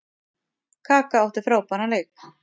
Kaka átti frábæran leik.